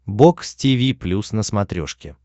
бокс тиви плюс на смотрешке